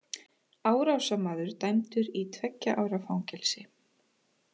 Árásarmaður dæmdur í tveggja ára fangelsi